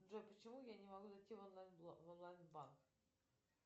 джой почему я не могу зайти в онлайн банк